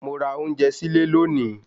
Mo ra ounje sile lóòní